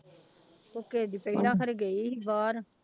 ਕੁੱਕੇ ਦੀ ਪਹਿਲਾਂ ਖਰੇ ਗਈ ਸੀ ਬਾਹਰ।